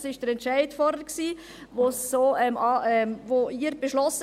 Das war der Entscheid, den Sie vorhin gefällt haben.